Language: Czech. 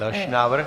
Další návrh?